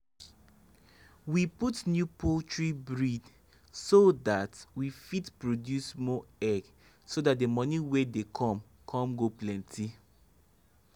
we put new poultry breed so that we fit produce more egg so that the moni wy dey come come go penty